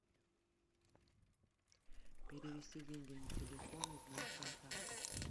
перевести деньги на телефон из моих контактов